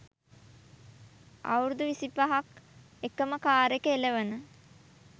අවුරුදු විසිපහක් එකම කාර් එක එළවන